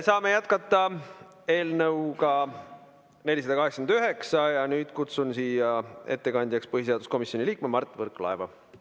Saame jätkata eelnõuga 489 ja nüüd kutsun siia ettekandjaks põhiseaduskomisjoni liikme Mart Võrklaeva.